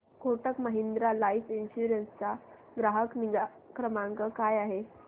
Kotak Mahindra life insurance चा ग्राहक निगा क्रमांक काय आहे